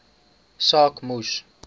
saak moes